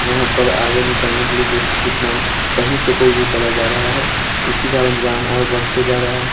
यहाँ पर आगे निकलने के लिए देखिए कितना कहीं से कोई भी चला जा रहा है इसी कारण जाम और बढ़ते जा रहा है।